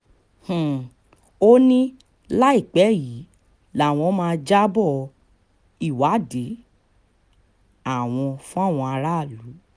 um ó ní láìpẹ́ yìí làwọn máa jábọ́ um ìwádìí àwọn fáwọn aráàlú